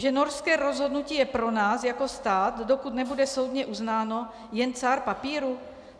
Že norské rozhodnutí je pro nás jako stát, dokud nebude soudně uznáno, jen cár papíru?